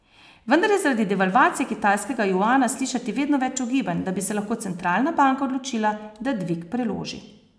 Vendar je zaradi devalvacije kitajskega juana slišati vedno več ugibanj, da bi se lahko centralna banka odločila, da dvig preloži.